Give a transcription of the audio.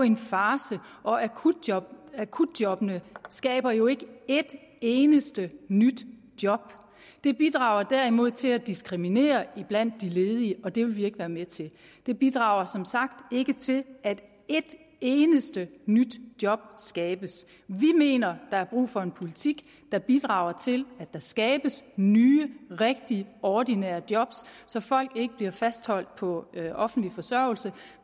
en farce og akutjobbene akutjobbene skaber jo ikke et eneste nyt job de bidrager derimod til at diskriminere blandt de ledige og det vil vi ikke være med til de bidrager som sagt ikke til at et eneste nyt job skabes vi mener der er brug for en politik der bidrager til at der skabes nye rigtige ordinære job så folk ikke bliver fastholdt på offentlig forsørgelse